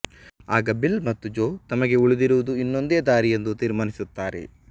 ಆಗ ಬಿಲ್ ಮತ್ತು ಜೋ ತಮಗೆ ಉಳಿದಿರುವುದು ಇನ್ನೊಂದೇ ದಾರಿಯೆಂದು ತೀರ್ಮಾನಿಸುತ್ತಾರೆ